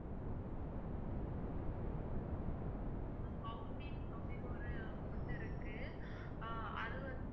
ma'am அப்படின்னு ஒரு food இருக்கு அஹ் அதுவந்து